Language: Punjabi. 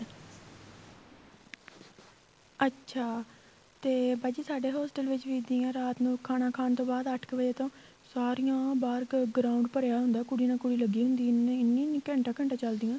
ਅੱਛਾ ਤੇ ਬਾਜੀ ਸਾਡੇ hostel ਵਿੱਚ ਹੀ ਇੱਦਾਂ ਹੀ ਆ ਰਾਤ ਨੂੰ ਖਾਣਾ ਖਾਣ ਤੋ ਬਾਅਦ ਅੱਠ ਵਜ਼ੇ ਤੋ ਸਾਰੀਆਂ ਬਾਹਰ ground ਭਰਿਆ ਹੁੰਦਾ ਕੁੜੀਆਂ ਹੀ ਕੁੜੀਆਂ ਲੱਗੀਆ ਹੁੰਦੀਆਂ ਇੰਨੀਂ ਇੰਨੀਂ ਘੰਟਾ ਘੰਟਾ ਚੱਲਦੀਆਂ